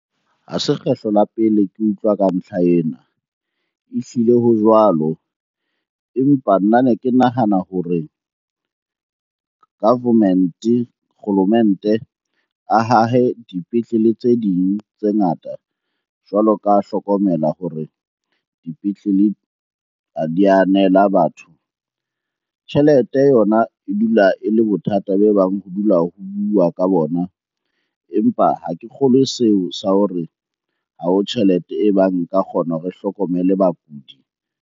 Ha se kgetlo la pele ke utlwa ka mehla ena. Ehlile ho jwalo, empa nna ne ke nahana hore government-e, kgolomente a hahe dipetlele tse ding tse ngata. Jwalo ka hlokomela hore dipetlele ha di ya anela batho. Tjhelete yona e dula e le bothata be bang ho dula ho bua ka bona, empa ha ke kgolwe seo sa hore ha ho tjhelete e bang e ka kgona hore e hlokomele bakudi.